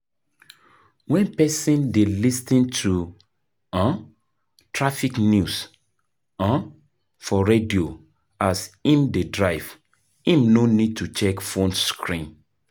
when person dey lis ten to um traffic news um for radio as im dey drive, im no need to check phone screen